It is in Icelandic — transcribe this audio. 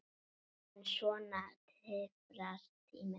En svona tifar tíminn.